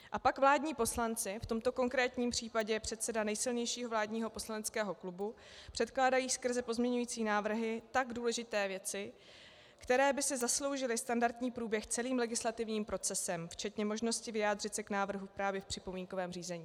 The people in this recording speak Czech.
A pak vládní poslanci, v tomto konkrétním případě předseda nejsilnějšího vládního poslaneckého klubu, předkládají skrze pozměňovací návrhy tak důležité věci, které by si zasloužily standardní průběh celým legislativním procesem, včetně možnosti vyjádřit se k návrhu právě v připomínkovém řízení.